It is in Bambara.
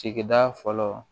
Sigida fɔlɔ